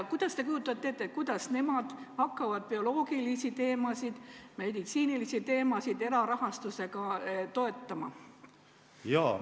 Kuidas te kujutate ette, et nemad hakkavad bioloogilisi teemasid, meditsiinilisi teemasid erarahastusega toetama?